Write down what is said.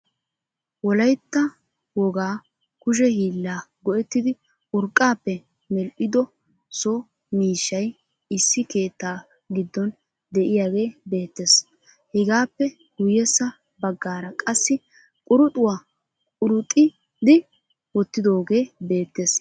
wolaytta woga kushe hiilla go'etidi urqappe medhido so mishshay issi keettaa gidon de'iyage beettees hegappe guyesa bagara qassi quruxuwa quruxidi wottidogee beettees.